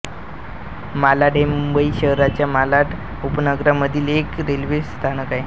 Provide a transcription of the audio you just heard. मालाड हे मुंबई शहराच्या मालाड उपनगरामधील एक रेल्वे स्थानक आहे